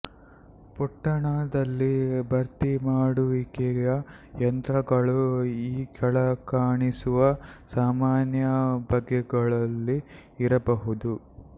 ಪೊಟ್ಟಣದಲ್ಲಿ ಭರ್ತಿಮಾಡುವಿಕೆಯ ಯಂತ್ರಗಳು ಈ ಕೆಳಕಾಣಿಸಿರುವ ಸಾಮಾನ್ಯ ಬಗೆಗಳಲ್ಲಿ ಇರಬಹುದು